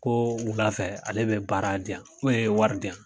Ko wulafɛ ale be baara di an ee wari diyan